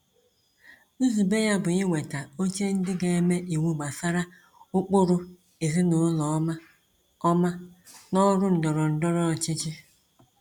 Nzube ya bụ iweta oche ndị ga eme iwu gbasara ụkpụrụ ezinụlọ ọma ọma n’ọrụ ndọrọndọrọ ọchịchị.